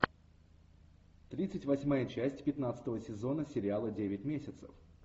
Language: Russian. тридцать восьмая часть пятнадцатого сезона сериала девять месяцев